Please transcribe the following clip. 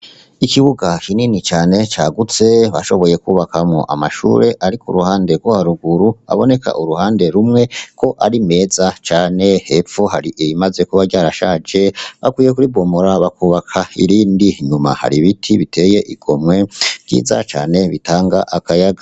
Ikibuga kinini cane cagutse, bashoboye kwubakamwo amashure ari k'uruhande rwo haruguru, aboneka uruhande rumwe ko ari meza cane. Hepfo, hari irimaze kuba ryarashaje, bakwiye kuribomora bakubaka irindi. Inyuma, hari ibiti biteye igomwe, vyiza cane, bitanga akayaga.